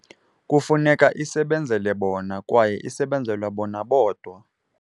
Kufuneka isebenzele bona kwaye isebenzele bona bodwa.